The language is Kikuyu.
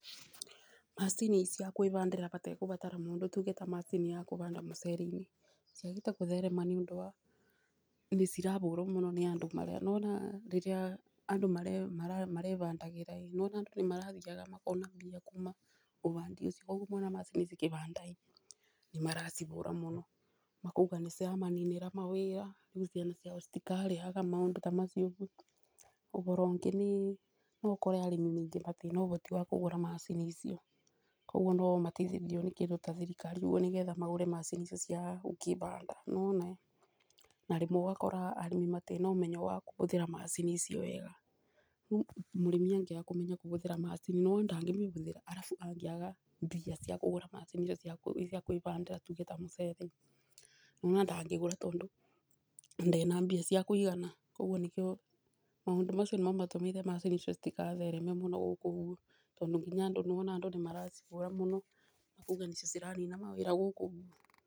Macini cia kwĩbandĩra batekũbũthíĩra mũndũtuge ta macini ya kũbanda mũcere-inĩ ciagĩte gũtherema, nĩ ũndũ wa nĩ cirabũrwo mũno nĩ andũ marĩa. Wona rĩrĩa andũ marebandagĩra andũ nĩ marathiaga makona mbia kuma ũbandi ũcio, rĩu mona macini cikĩbanda ĩ nĩ maracihũra mũno makauga nĩ ciramaninĩra mawĩra. Rĩu ciana ciao citikarĩaga maũndũ ta macio, ũboro ũngĩ no ũkore arĩmi aingĩ matirĩ na ũboti wa kũgũra macini icio, koguo no mateithirio nĩ kĩndũ ta thirikari nĩgetha magũre macini icio cia gũkĩbanda nĩ wona. Na rĩmwe ũgakora arĩmi matirĩ na ũmenyo wa kũbũthĩra macini icio wega, rĩu mũrĩmi angĩaga kũmenya kũbũthĩra macini no wona ndangĩmĩbũthĩra arabu angĩaga mbia cia kũgũra macini icio cia kwĩbandĩra tũge ta mũcere, nĩ wona ndangĩgũra, tondũ ndarĩ na mbia cia kũigana. Maũndũ macio nĩmo matũmire macini icio citigathereme mũno gũkũ gwitũ, tondũ nginya andũ nĩ wona andũ nĩ mara cibũra mũno kuga nĩcio cira nina mawĩra gũkũ.